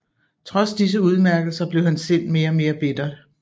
Trods disse udmærkelser blev hans sind mere og mere bittert